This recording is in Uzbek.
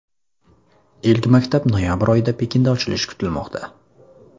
Ilk maktab noyabr oyida Pekinda ochilishi kutilmoqda.